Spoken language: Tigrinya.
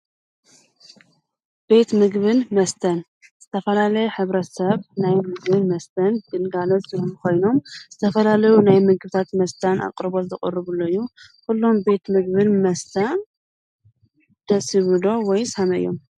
ቤት ምግብን መስተን ዝተፈላለየ ኅብረ ሰብ ናይ ምግብን መስተን ድልጋኖት ዘምሚ ኾይኖም ዝተፈላለዩ ናይ ምግብታት መስታን ኣቕርቦት ዘቕሩ ብለዩ ዂሎም ቤት ምግብን መስተን ደሲቡሎ ወይ ሳሓመዮም